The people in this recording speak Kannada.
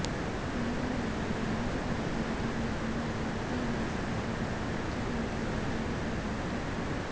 ಮಹಿಳೆಯರೊಂದಿಗೆ ಅನುಚಿತ ವರ್ತನೆ ತೋರಿದ ಹಿನ್ನೆಲೆ ವಿದ್ಯಾದಾಸ್ ಬಾಬಾನನ್ನ ಅರ್ಚಕ ಹುದ್ದೆಯಿಂದ ಕೆಳಗಿಳಿಸಲಾಗಿತ್ತು